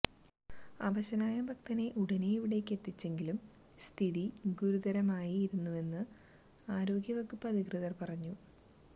അവശനായ ഭക്തനെ ഉടനെ ഇവിടേക്ക് എത്തിച്ചെങ്കിലും സ്ഥിതി ഗുരുതരമായിരുന്നുവെന്ന് ആരോഗ്യ വകുപ്പ് അധികൃതര് പറഞ്ഞു